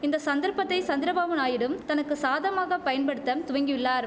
இந்த சந்தர்ப்பத்தை சந்திரபாபு நாயுடும் தனக்கு சாதமாக பயன்படுத்த துவங்கியுள்ளார்